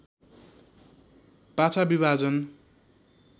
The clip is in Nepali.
पाछा विभाजन